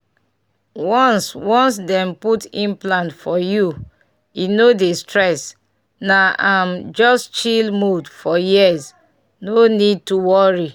once once dem put implant for you e no dey stress — na um just chill mode for years no need to worry